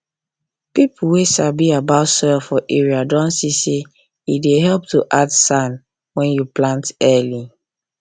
people wey sabi about soil for area don see say e dey help to add sand when you plant early